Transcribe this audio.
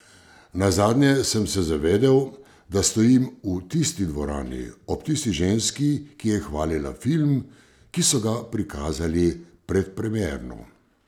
Nazadnje sem se zavedel, da stojim v tisti dvorani, ob tisti ženski, ki je hvalila film, ki so ga prikazali predpremierno.